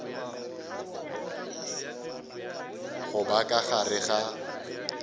go ba ka gare ga